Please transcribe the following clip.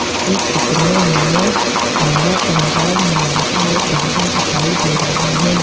इस चित्र में हमें रंगा पंजाब नाम का एक ढाबा दिखाई दे रहा है।